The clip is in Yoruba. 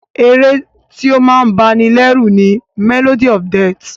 Ẹ̀ré tí o máa ń bá ní lẹ́rù ni "Melody of death"